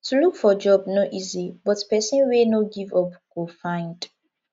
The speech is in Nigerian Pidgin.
to look for job no easy but pesin wey no give up go find